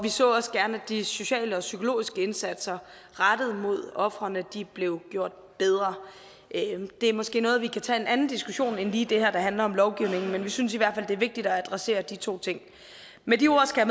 så også gerne at de sociale og psykologiske indsatser rettet mod ofrene blev gjort bedre det er måske noget vi kan tage under en anden diskussion end lige den her der handler om lovgivning men vi synes i hvert fald det er vigtigt at adressere de to ting med de ord skal